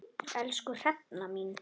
Elsku Hrefna mín.